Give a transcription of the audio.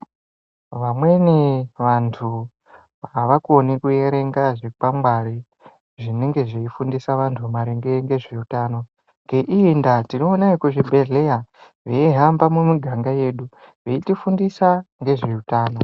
Vamweni vantu havakoni kuyerenga zvikwangwari, zvinenge zviyifundisa vantu maringe ndezvewutano. Nge iyinda tinowona kuzvibhedhlera veyihamba mumiganga yedu veyitifundisa ngezvewutano.